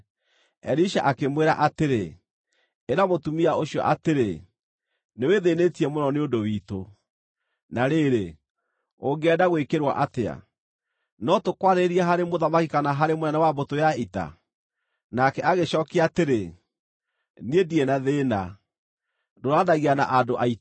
Elisha akĩmwĩra atĩrĩ, “Ĩra mũtumia ũcio atĩrĩ, ‘Nĩwĩthĩnĩtie mũno nĩ ũndũ witũ. Na rĩrĩ, ũngĩenda gwĩkĩrwo atĩa? No tũkwarĩrĩrie harĩ mũthamaki kana harĩ mũnene wa mbũtũ ya ita?’ ” Nake agĩcookia atĩrĩ, “Niĩ ndirĩ na thĩĩna, ndũũranagia na andũ aitũ.”